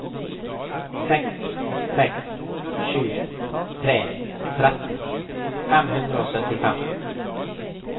seks seks sju tre tretten fem hundre og syttifem